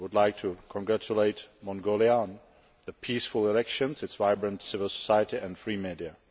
I would like to congratulate Mongolia on its peaceful elections, its vibrant civil society and free media.